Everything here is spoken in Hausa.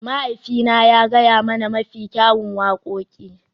Mahaifina ya gaya mana mafi kyawun wakoki.